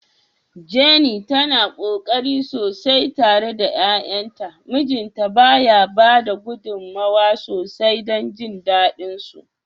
Jenny tana ƙoƙari sosai tare da 'ya'yanta, mijinta ba ya bada gudummawa sosai don jin dadin su.